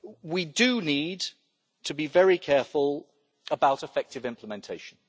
We do need to be very careful about effective implementation